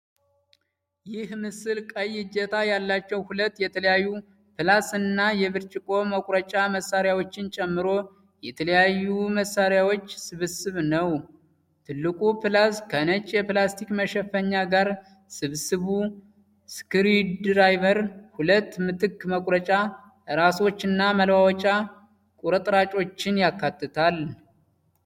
ይህ ምስል ቀይ እጀታ ያላቸው፣ ሁለት የተለያዩ ፕላስ እና የብርጭቆ መቁረጫ መሣሪያዎችን ጨምሮ የተለያዩ መሳሪያዎች ስብስብ ነው። ትልቁ ፕላስ ከነጭ የፕላስቲክ መሸፈኛ ጋር፣ ስብስቡ ስክሩድራይቨር፣ ሁለት ምትክ መቁረጫ ራሶች እና መለዋወጫ ቁርጥራጮችን ያካትታል።